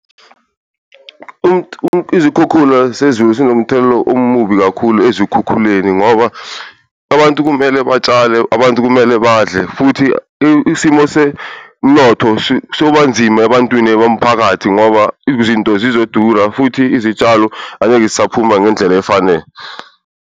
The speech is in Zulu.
Izikhukhula sezulu sinomthelela omubi kakhulu ezikhukhuleni ngoba abantu kumele batshale, abantu kumele badle futhi isimo semnotho sobanzima ebantwini bomphakathi. Ngoba izinto zizodura futhi izitshalo angeke zisaphuma ngendlela efanele.